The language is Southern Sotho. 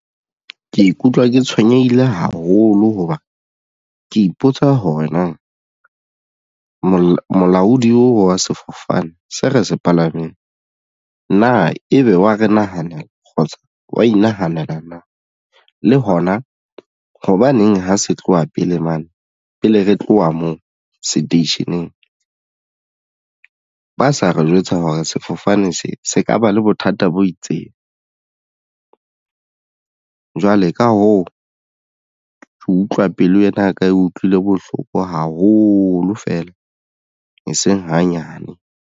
Ke ikutlwa ke tshwenyehile haholo hoba ke ipotsa hore na molaodi wa sefofane se re se palameng na ebe wa re nahanela kgotsa wa inahanela na le hona hobaneng ha se tloha pele mane pele re tloha moo seteisheneng ba sa re jwetsa hore sefofane se se ka ba le bothata bo itseng jwale ka hoo ke utlwa pelo ena ya ka e utlwile bohloko haholo fela eseng hanyane.